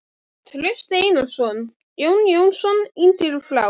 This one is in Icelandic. Trausti Einarsson, Jón Jónsson yngri frá